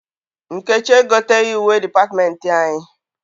Nkechi egoteghi uwe dịpatịmentị anyị.